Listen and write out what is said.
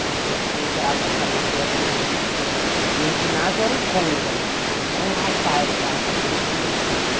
Quando você entrava, aparecia com... No ginásio era o conga, ou então o alpargata, quem tinha aquilo.